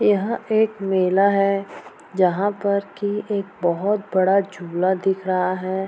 यहाँ एक मेला है जहाँ पर की एक बहुत बड़ा झूला दिख रहा है।